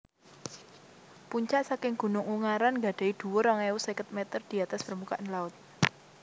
Puncak saking Gunung Ungaran gadhahi dhuwur rong ewu seket meter di atas permukaan laut